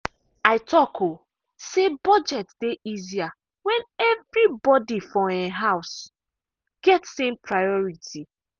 i talk um say budget dey easier when everybody for um house get same priority.